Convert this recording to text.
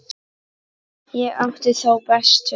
Ég átti þá bestu.